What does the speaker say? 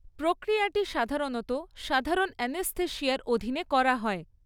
প্রক্রিয়াটি সাধারণত সাধারণ অ্যানেস্থেশিয়ার অধীনে করা হয়।